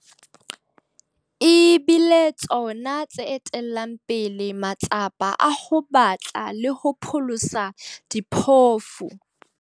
Ebile tsona tse etellang pele matsapa a ho batla le ho pholosa diphofu.